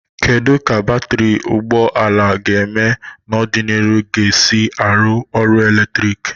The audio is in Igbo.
Kedu ka batrị ụgbọ ala ga-eme n'ọdịnihu ga-esi arụ ọrụ eletrik?